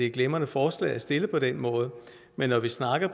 et glimrende forslag at stille på den måde men når vi snakker